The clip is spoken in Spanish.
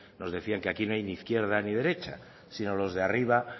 nos decían que aquí no hay ni izquierda ni derecha sino los de arriba